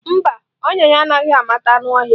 Mba, ọnya ya anaghị amata anụ ọhịa.